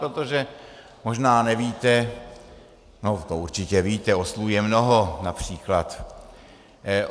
Protože možná nevíte, no to určitě víte, oslů je mnoho, například.